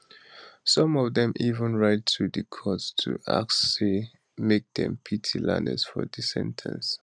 some of dem even write to di court to ask say make dem pity lanez for di sen ten cing